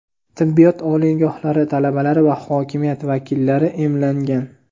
tibbiyot oliygohlari talabalari va hokimiyat vakillari emlangan.